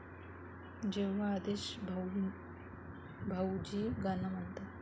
जेव्हा आदेश भाऊजी गाणं म्हणतात...